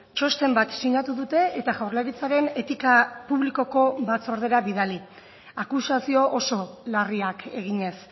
txosten bat sinatu dute eta jaurlaritzaren etika publikoko batzordera bidali akusazio oso larriak eginez